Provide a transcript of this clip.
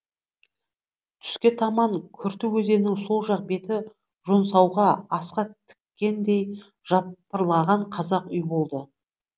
түске таман күрті өзенінің сол жақ беті жонсауға асқа тіккендей жапырлаған қазақ үй болды